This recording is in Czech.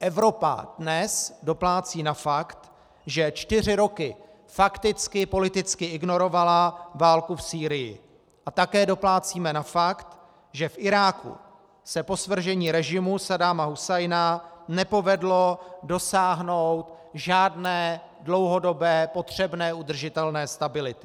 Evropa dnes doplácí na fakt, že čtyři roky fakticky politicky ignorovala válku v Sýrii, a také doplácíme na fakt, že v Iráku se po svržení režimu Saddáma Husajna nepovedlo dosáhnout žádné dlouhodobé potřebné udržitelné stability.